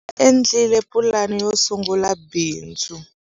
Va endlile pulani yo sungula bindzu.